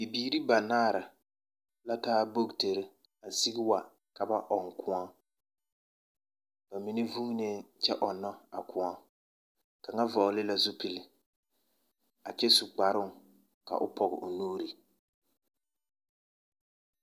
Bibiiri banaar'a la taa bukitiri a sigi wa ka ba ɔŋ kõɔ. Ba mine vuunee kyɛ ɔnnɔ a kõɔ. Kaŋa hɔɔle la zupilii a kyɛ su kparoŋ ka o pɔge o nuuri.